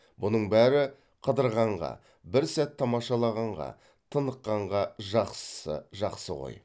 бұның бәрі қыдырғанға бір сәт тамашалағанға тыныққанға жақсысы жақсы ғой